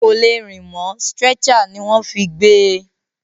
Kò lè rìn mọ́, stretcher ní wọ́n fí gbé e.